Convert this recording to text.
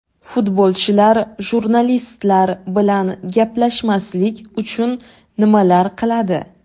Futbolchilar jurnalistlar bilan gaplashmaslik uchun nimalar qiladi?